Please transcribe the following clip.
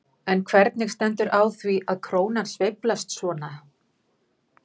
En hvernig stendur á því að krónan sveiflast svona?